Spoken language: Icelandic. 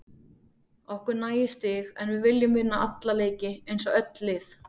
Okkur nægir stig en við viljum vinna alla leiki eins og öll lið.